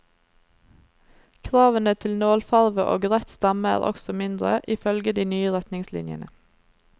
Kravene til nålfarve og rett stamme er også mindre, ifølge de nye retningslinjene.